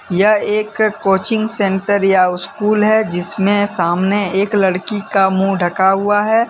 यह एक coaching centre या स्कूल है जिसमें सामने एक लड़की का मुंह ढका हुआ है।